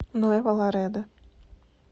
нуэво ларедо